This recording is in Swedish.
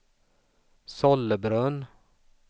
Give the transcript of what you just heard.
Sollebrunn